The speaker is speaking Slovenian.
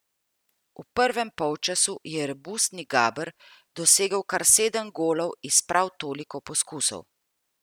V prvem polčasu je robustni Gaber dosegel kar sedem golov iz prav toliko poskusov!